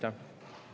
Aitäh!